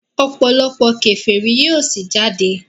òpòlopò keferi yíò sí jáde.